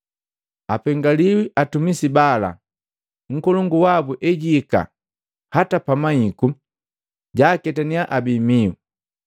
Apengaliwi atumisi bala nkolongu wabu ejihika hata pamahiku, jaaketaniya abii mihu!